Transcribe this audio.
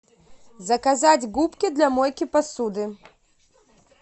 заказать губки для мойки посуды